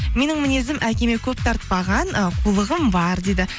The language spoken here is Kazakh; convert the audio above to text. менің мінезім әкеме көп тартпаған э қулығым бар дейді